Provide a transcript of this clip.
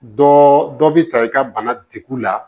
Dɔ dɔ bɛ ta i ka bana degu la